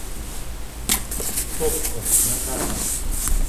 токко на карте